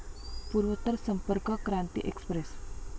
पूर्वोत्तर संपर्क क्रांती एक्सप्रेस